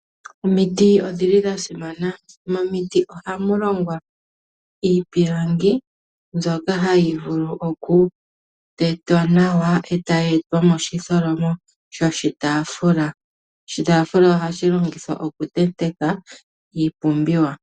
Omiti odhili dha simana. Momiti oha mu longwa iipilangi mbyoka hayi vulu okutetwa nawa, e ta yi etwa moshitholomo shoshitaafula. Oshitaafula ohashi longithwa okutenteka iipumbiwa.